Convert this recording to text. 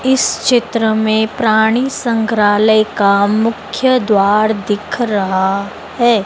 इस चित्र में प्राणी संग्रहालय का मुख्य द्वार दिख रहा है।